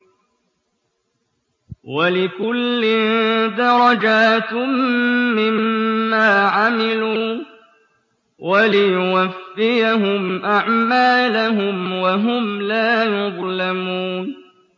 وَلِكُلٍّ دَرَجَاتٌ مِّمَّا عَمِلُوا ۖ وَلِيُوَفِّيَهُمْ أَعْمَالَهُمْ وَهُمْ لَا يُظْلَمُونَ